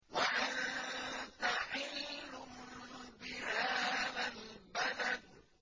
وَأَنتَ حِلٌّ بِهَٰذَا الْبَلَدِ